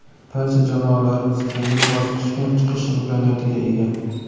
Barcha jamoalarimiz keyingi bosqichga chiqish imkoniyatiga ega.